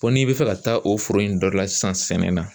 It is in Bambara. Ko n'i bɛ fɛ ka taa o foro in dɔ la sisan sɛnɛ na